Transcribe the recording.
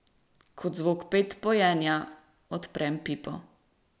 Ko zvok pet pojenja, odprem pipo.